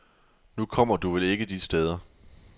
Nu kommer du vel ikke de steder.